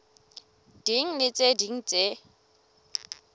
ding le tse ding tse